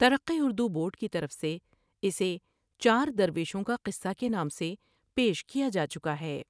ترقی اردو بورڈ کی طرف سے اسے چار درویشوں کا قصہ کے نام سے پیش کیا جاچکا ہے ۔